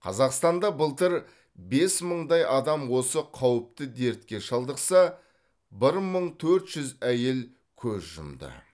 қазақстанда былтыр бес мыңдай адам осы қауіпті дертке шалдықса бір мың төрт жүз әйел көз жұмды